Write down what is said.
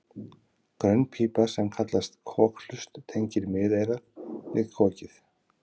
grönn pípa sem kallast kokhlust tengir miðeyrað við kokið